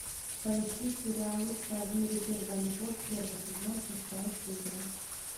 поищи сериал лучшая в мире первая любовь первый сезон шестая серия